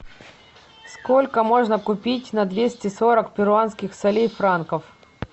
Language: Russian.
сколько можно купить на двести сорок перуанских солей франков